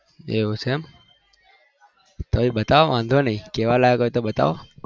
એવું છે એમ તોય બતાવો વાધો નહિ કેવા લાગો છો બતાવો